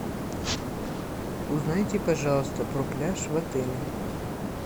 узнайте пожалуйста про пляж в отеле